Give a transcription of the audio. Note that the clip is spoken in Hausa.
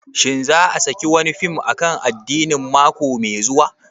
Shin za a saki wani fim akan addini mako mai zuwa?